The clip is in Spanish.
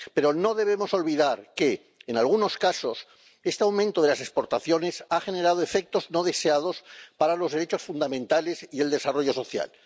Pero no debemos olvidar que, en algunos casos, este aumento de las exportaciones ha generado efectos no deseados para los derechos fundamentales y el desarrollo social.